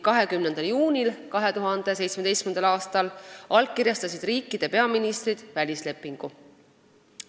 20. juunil 2017. aastal allkirjastasid riikide peaministrid välislepingu.